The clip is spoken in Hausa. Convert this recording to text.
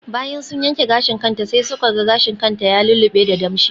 Bayan sun yanke gashin kanta sai suka ga gashin kan ta ya lullube da damshi.